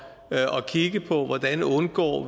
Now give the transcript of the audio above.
kigge på hvordan vi undgår